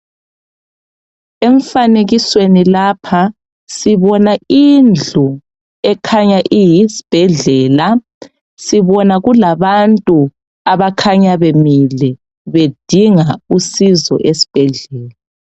Emfanekisweni lapha sibona indlu ekhanya iyisibhedlela. Sibona kulabantu abakhanya bemile bedinga usizo esibhedlela.